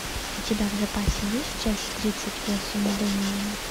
у тебя в запасе есть часть тридцать восемь дэмиен